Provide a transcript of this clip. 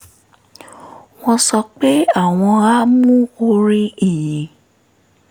wọ́n sọ pé àwọn á mú orin ìyìn